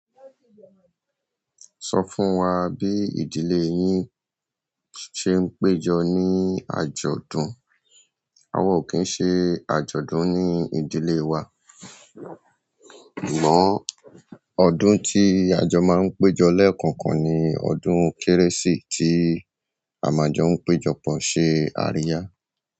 Sọ fún wa bí ìdílé yín ṣe ń péjọ ní àjọ̀dún. Àwa ò kí ń ṣe àjọ̀dún ní ìdílé wa, ìmọ́ ọdún tí àjọ máa ń péjọ lẹ́ẹ̀kọ̀ọ̀kan ni ọdún Kérésì tí a máa jọ ń péjọ pọ̀ ṣe àríyá.